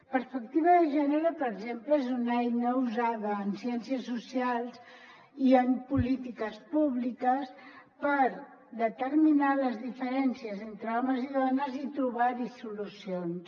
perspectiva de gènere per exemple és una eina usada en ciències socials i en polítiques públiques per determinar les diferències entre homes i dones i trobar hi solucions